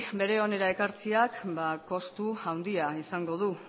onera ekartzeak kostu handia izango du